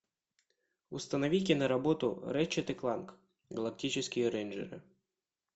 установи киноработу рэтчет и кланк галактические рейнджеры